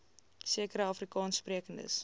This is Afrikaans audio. sekere afrikaans sprekende